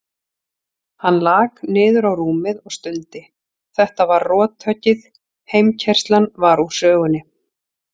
Hann lak niður á rúmið og stundi, þetta var rothöggið, heimkeyrslan var úr sögunni.